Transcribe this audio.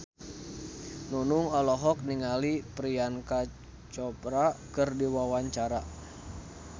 Nunung olohok ningali Priyanka Chopra keur diwawancara